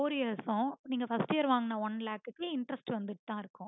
four years க்கும் நீங்க first year வாங்குன one lakh க்கு interest வந்துட்டு தா இருக்கும்